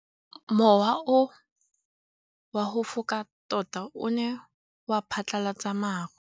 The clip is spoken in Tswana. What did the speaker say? Mowa o wa go foka tota o ne wa phatlalatsa maru.